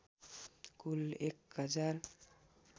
कुल १ हजार